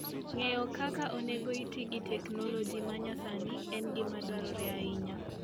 Ng'eyo kaka onego iti gi teknoloji ma nyasani en gima dwarore ahinya.